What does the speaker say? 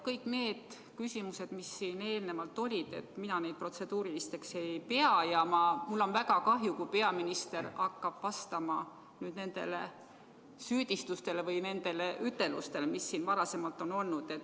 Kõik need küsimused, mis siin enne olid – mina neid protseduurilisteks ei pea ja mul on väga kahju, kui peaminister hakkab vastama nendele süüdistustele või nendele ütelustele, mis siin on esitatud.